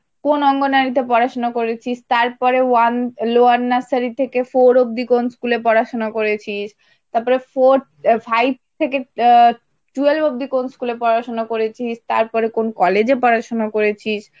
কোন অঙ্গনারীতে পড়াশোনা করেছিস তারপরে one Lower nursery থেকে four অব্দি কোন school এ পড়াশোনা করেছিস তারপরে four, five থেকে twelve অবধি কোন school এ পড়াশোনা করেছিস, তারপরে কোন college এ পড়াশুনা করেছিস।